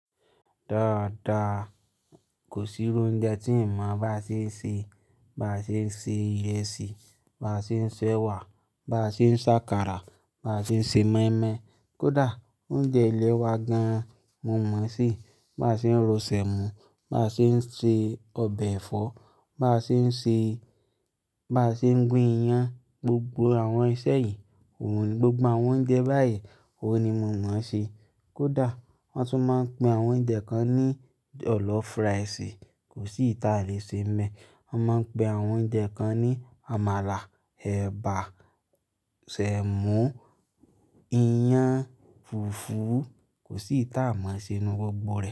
Dáadáa, kò sí oúnjẹ tí n máa bá à ṣe se, bá à ṣe se ìrẹsì, bá à ṣe sèwà, bá à ṣe sakara, bá à ṣe se mọ́ímọ́í. Kódà oúnjẹ ilé wa gan-an mo mọ̀ se, bá à ṣe ro sẹ̀mọ́, bá à ṣe se ọbẹ̀ ẹ̀fọ́, bá à ṣe se, bá à ṣe gún iyan, gbogbo àwọn iṣẹ́ yìí, òun ni gbogbo àwọn oúnjẹ báyìí òun ni mo mọ̀ se. Kódà wón tún máa ń pe àwọn oúnjẹ kan ní jọ̀llọ́f rice kò sí ìta lè ṣe nbẹ, wón máa ń pe àwọn oúnjẹ kan ní àmàlà, ẹ̀bà, sẹ̀mọ́, iyan, fùfú kò sí ìta mo mọ̀ sí inú gbogbo rẹ̀